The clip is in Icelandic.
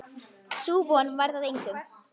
Sú von varð að engu.